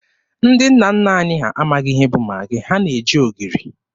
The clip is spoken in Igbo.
Ndị nna nna anyị ha amaghị ihe bụ Magị, ha na-eji ogiri.